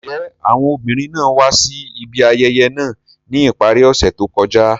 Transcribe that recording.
Njẹ awọn obinrin naa wa si ibi ayẹyẹ naa ni ipari ose to kọja?